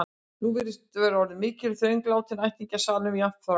Nú virðist vera orðin mikil þröng látinna ættingja í salnum, jafnt frá